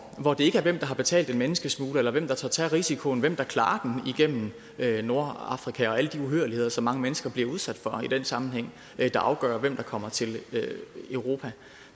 hvor det ikke er hvem der har betalt en menneskesmugler eller hvem der tør tage risikoen altså hvem der klarer den igennem nordafrika og alle de uhyrligheder som mange mennesker bliver udsat for i den sammenhæng der afgør hvem der kommer til europa